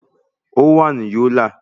Ó wà ní Yólà